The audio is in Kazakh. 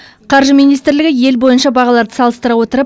қаржы министрлігі ел бойынша бағаларды салыстыра отырып